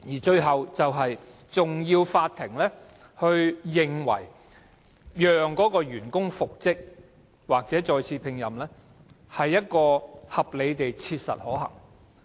最後一關是法院必須認為，讓該名員工復職或再次聘任是合理地切實可行的。